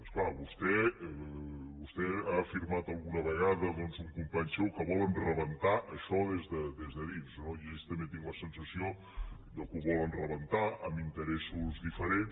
és clar vostè ha afirmat alguna vegada un company seu que volen rebentar això des de dins no i jo també tinc la sensació que ho volen rebentar amb interessos diferents